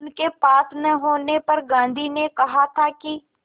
उनके पास न होने पर गांधी ने कहा था कि